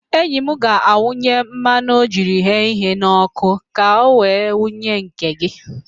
Enyi m ga-ewepụ mmanụ o jiri ghee ihe n'ọkụ ka i wee wunye nke gị